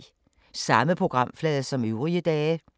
Samme programflade som øvrige dage